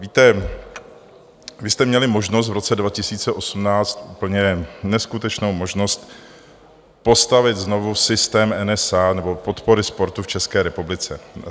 Víte, vy jste měli možnost v roce 2018, úplně neskutečnou možnost postavit znovu systém NSA nebo podpory sportu v České republice.